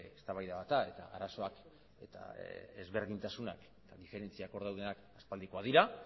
eztabaida bat da eta arazoak eta ezberdintasunak eta diferentziak hor daudenak aspaldikoak dira